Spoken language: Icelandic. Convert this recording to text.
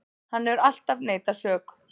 Hann hefur alltaf neitað sök